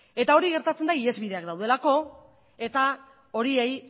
eta hori gertatzen da ihesbideak daudelako eta horiei